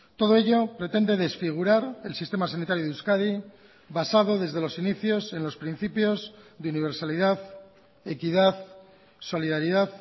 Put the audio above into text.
todo ello pretende desfigurar el sistema sanitario de euskadi basado desde los inicios en los principios de universalidad equidad solidaridad